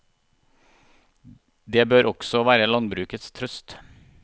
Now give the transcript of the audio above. Det bør også være landbrukets trøst.